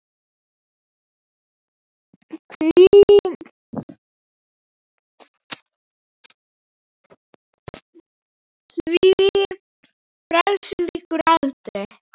Því ferli lýkur aldrei.